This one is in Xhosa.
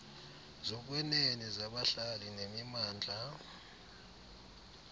zokwenene zabahlali nemimandla